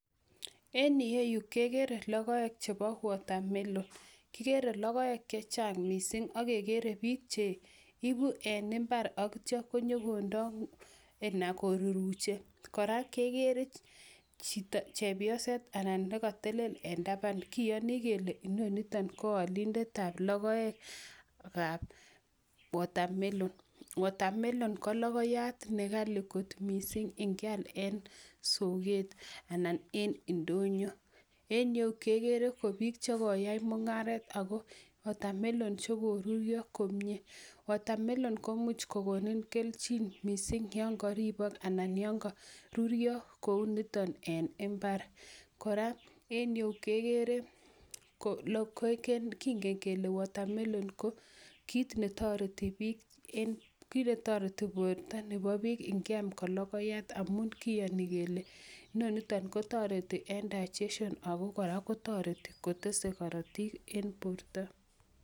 En yueyu kegere lokoek chebo watermelon. Kigere lokoek che chang mising akegere biik che ibu eng mbar akitcho ko nyo kondo anan koruruche, kora kegere chepyoset anan ne katelel eng taban kiyoni kele inoniton ko olindetab lokoekab watermelon. watermelon ko lokoyat ne ghali kot mising ye keal en soket anan en ndonyo. En yeu ke gere kot biiik che koyae mung'aret ako watermelon che korurio komie. watermelon ko much kokonin kelchin mising yongoribot anan yongo rurio kou niton en imbar. kora en yeu kegere lokoeken, kingen kele watermelon ko kiit ne toreti biik en, kiit ne toreti borta nebo biik ngeam ko lokoyat amun kiyoni kele inonito ko toreti eng digestion aku kora toreti kotese korotik en borta.